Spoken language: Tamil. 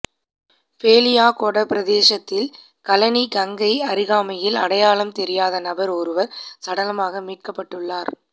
பேலியாகொட பிரதேசத்தில் களனி கங்கைஅருகாமையில் அடையாளம் தெரியாத நபர் ஒருவர் சடலமாக மீட்கப்பட்டுள்ளார்